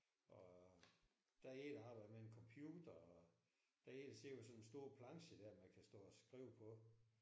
Og der er en der arbejder med en computer og der er en der sidder med sådan en stor planche der man kan stå og skrive på